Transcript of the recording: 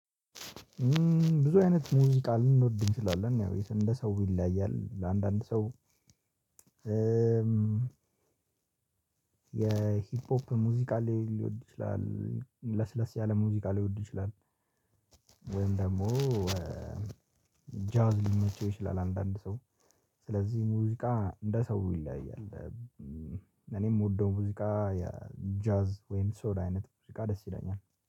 ብዙ አይነት ሙዚቃ ልንወድ እንችላለን ያው እንደ ሰው ይለያያል ለአንዳንድ ሰው የሂፖፕ ሙዚቃ ላይ ሊወድ ይችላል ለስለስ ያለ ሙዚቃ ሊወድ ይችላል። ወይም ደግሞ ጃዝ ሊመቸው ይችላል አንዳንድ ሰው ስለዚህ ሙዚቃ እንደ ሰው ይለያያል። እኔም የምወደው ሙዚቃ ጃዝ ወይም ሶል አይነት ሙዚቃ ደስ ይለኛል